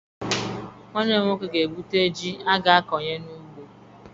Nwanne m nwoke ga-ebute ji a ga-akọnye n'ugbo.